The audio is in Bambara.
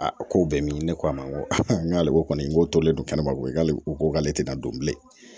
A ko bɛɛ min ne ko a ma n ko a ko kɔni n ko tolen don kɛnɛ ma ko k'ale ko ko ale tɛ na don bilen